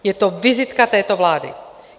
Je to vizitka této vlády.